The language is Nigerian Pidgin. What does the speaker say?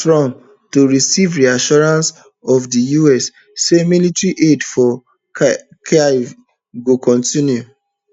trump to receive reassurances of di us say military aid for kyiv go kontinue